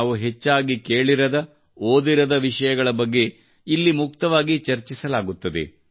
ನಾವು ಹೆಚ್ಚಾಗಿ ಕೇಳಿರದ ಓದಿರದ ವಿಷಯಗಳ ಬಗ್ಗೆ ಇಲ್ಲಿ ಮುಕ್ತವಾಗಿ ಚರ್ಚಿಸಲಾಗುತ್ತದೆ